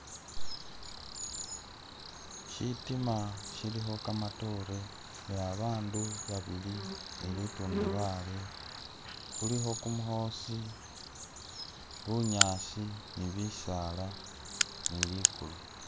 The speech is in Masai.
Ishitima shilikho kakatore ne babandu babili ni li tundubali, khulikho kumukhosi, bunyaasi , ne bisaala ne ligulu